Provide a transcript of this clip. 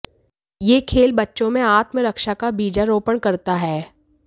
यह खेल बच्चों में आत्मरक्षा का बीजारोपण करता है